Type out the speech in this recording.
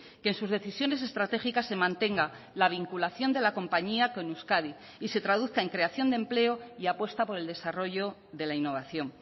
que en sus decisiones estratégicas se mantenga la vinculación de la compañía con euskadi y se traduzca en creación de empleo y apuesta por el desarrollo de la innovación